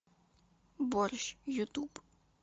борщ ютуб